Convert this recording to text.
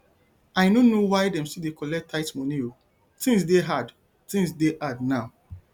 i no know why dem still dey collect tithe moni o tins dey hard tins dey hard now